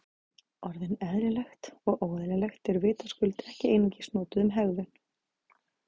Orðin eðlilegt og óeðlilegt eru vitaskuld ekki einungis notuð um hegðun.